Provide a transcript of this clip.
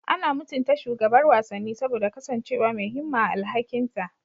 Ana mutunta shugabar wasanni saboda kasancewa mai himma a alhakinta.